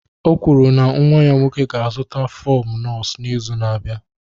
O kwuru na nwa ya nwoke ga-azụta fọm nọọsụ n'izu na-abịa.